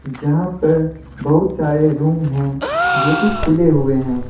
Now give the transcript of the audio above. यहां पर बहुत सारे रूम हैं जो कि खुले हुए हैं।